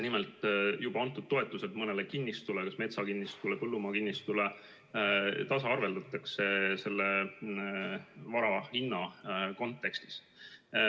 Nimelt, juba antud toetused mõnele kinnistule, kas metsakinnistule või põllumaakinnistule, tasaarveldatakse selle vara hinna kontekstis.